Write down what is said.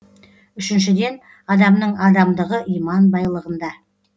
үшіншіден адамның адамдығы иман байлығында